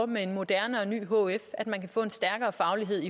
med en moderne og ny hf at man kan få en stærkere faglighed